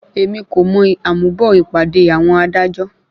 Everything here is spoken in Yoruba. Èmi kò mọ àmúbọ̀ ìpàdé àwọn adájọ́.